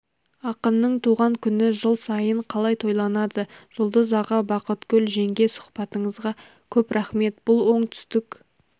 ақынның туған күні жыл сайын қалай тойланады жұлдыз аға бақытгүл жеңге сұхбатыңызға көп рақмет бұл оңтүстік